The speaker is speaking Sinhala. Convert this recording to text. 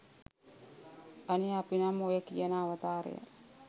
අනේ අපි නම් ඔය කියන අවතාරය